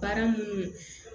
Baara munnu